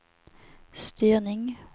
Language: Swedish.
styrning